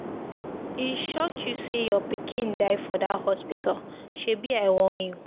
E shock you say your pikin die for dat hospital, shebi I warn you.